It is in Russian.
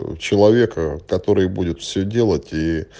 ну человека который будет все делать и